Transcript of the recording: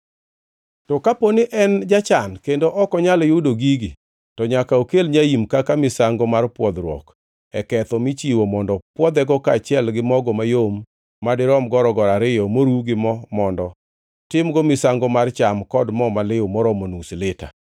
“To ka diponi ni en jachan kendo ok onyal yudo gigi, to nyaka okel nyaim kaka misango mar pwodhruok e ketho michiwo mondo pwodhego kaachiel gi mogo mayom madirom gorogoro ariyo moruw gi mo mondo timgo misango mar cham kod mo maliw moromo nus lita,